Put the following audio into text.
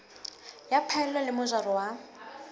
ya phaello le mojaro wa